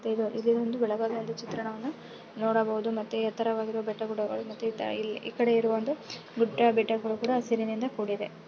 ಮತ್ತೆ ಇದು ಇದು ಒಂದು ಬೆಳಗಾವಿಯ ಚಿತ್ರಣವನ್ನು ನೋಡಬಹುದು ಮತ್ತೆ ಎತ್ತರವಾಗಿರುವ ಬೆಟ್ಟ ಗುಡ್ಡಗಳು ಮತ್ತೆ ಈ ಈ ಕಡೆ ಇರುವ ಒಂದು ಗುಡ್ಡ ಬೆಟ್ಟಗಳು ಕೂಡ ಹಸಿರಿನಿಂದ ಕೂಡಿದೆ.